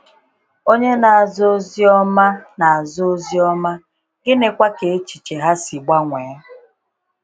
Ònye na-aza Ozi Ọma, na-aza Ozi Ọma, gịnịkwa ka echiche ha si gbanwee?